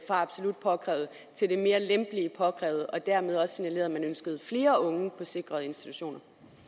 absolut påkrævet til det mere lempelige påkrævet og dermed også signalerede at man ønskede flere unge på sikrede institutioner